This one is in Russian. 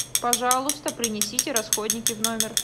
пожалуйста принесите расходники в номер